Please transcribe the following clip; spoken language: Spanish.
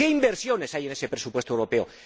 ¿Qué inversiones hay en ese presupuesto europeo?